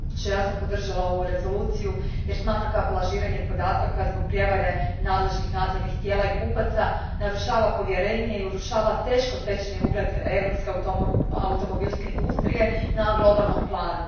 Gospodine predsjedniče, ja sam podržala ovu Rezoluciju jer smatram kako lažiranje podataka zbog prijevare nadležnih nadzornih tijela i kupaca narušava povjerenje i urušava teško stečeni ugled europske automobilske industrije na globalnom planu.